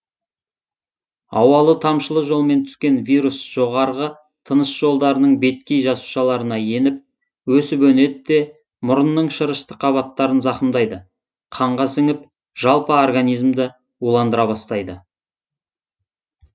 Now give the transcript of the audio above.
ауалы тамшылы жолмен түскен вирус жоғарғы тыныс жолдарының беткей жасушаларына еніп өсіп өнеді де мұрынның шырышты қабаттарын зақымдайды қанға сіңіп жалпы организмді уландыра бастайды